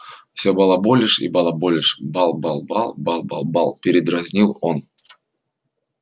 всё балаболишь и балаболишь бал-бал-бал бал-бал-бал передразнил он